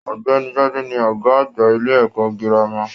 Ọ̀gbẹ́ni Gbade ni ọgá àgbà ilé ẹ̀kọ́ gírámà